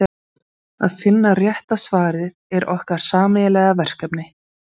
Að finna rétta svarið er okkar sameiginlega verkefni.